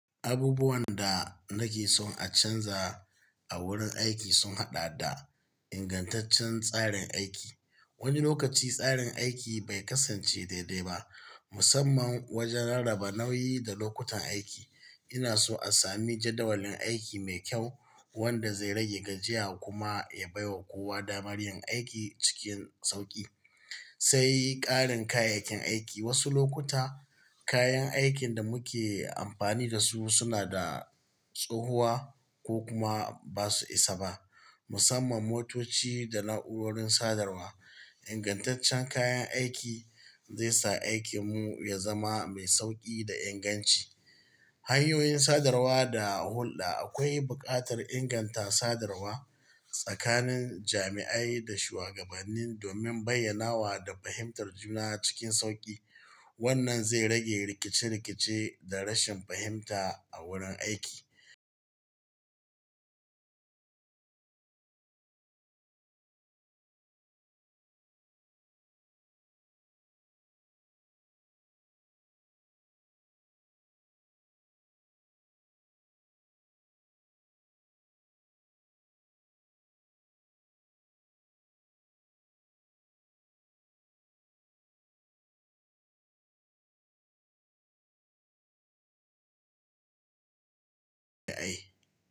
Abubuwan da nake son a canza a wurin aiki sun haɗa da ingantaccen tsarin aiki. Wani lokaci tsarin aiki bai kasance daidai ba, musamman wajen raba nauyi da lokutan aiki. Ina so a sami jadawalin aiki mai kyau wanda zai rage gajiya kuma ya baiwa kowa damar yin aiki cikin sauƙi. Sai ƙarin kayayyakin aiki. Wasu lokuta kayan aikin da muke amfani da su suna da tsohuwa ko kuma ba su isa ba, musamman motoci da na'urorin sadarwa. Ingantaccen kayan aiki zai sa aikinmu ya zama mai sauƙi da inganci. Hanyoyin sadarwa da hulɗa. Akwai buƙatar inganta sadarwa tsakanin jami'ai da shuwagabanni domin bayyanawa da fahimtar juna cikin sauƙi. Wannan zai rage rikice-rikice da rashin fahimta a wurin aiki.